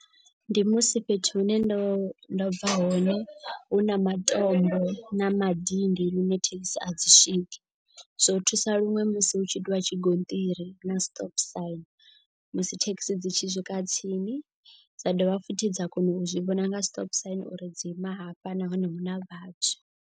Ndi musi fhethu hune ndo ndo bva hone hu na matombo na madindi. Lune thekhisi a dzi swiki zwo thusa luṅwe musi hu tshi itiwa tshigonṱiri na stop sign. Musi thekhisi dzi tshi swika tsini dza dovha futhi dza kona u zwi vhona nga stop sign uri dzi ima hafha nahone hu na vhathu.